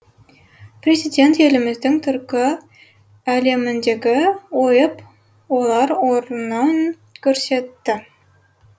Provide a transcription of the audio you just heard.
президент еліміздің түркі әлеміндегі ойып олар орнын көрсетті